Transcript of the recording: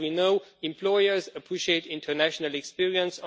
As we know, employers appreciate international experience.